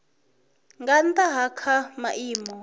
nga nnda ha kha maimo